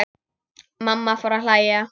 Mamma fór að hlæja.